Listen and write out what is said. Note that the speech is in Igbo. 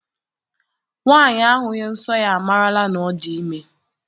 Nwaanyị ahụghị nsọ ya amarala na ọ dị ime.